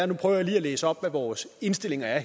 nu prøver jeg lige at læse op hvad vores indstillinger er